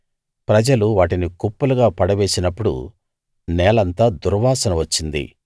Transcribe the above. ప్రజలు వాటిని కుప్పలుగా పడవేసినప్పుడు నేలంతా దుర్వాసన వచ్చింది